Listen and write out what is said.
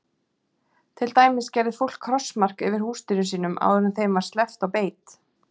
Til dæmis gerði fólk krossmark yfir húsdýrum sínum áður en þeim var sleppt á beit.